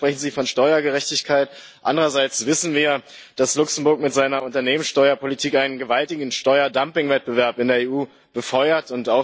Einerseits sprechen Sie von Steuergerechtigkeit, andererseits wissen wir, dass Luxemburg mit seiner Unternehmenssteuerpolitik einen gewaltigen Steuerdumpingwettbewerb in der EU befeuert.